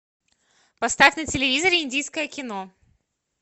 поставь на телевизоре индийское кино